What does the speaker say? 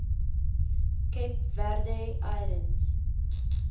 cape verde islands